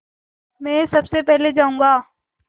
मैं सबसे पहले जाऊँगा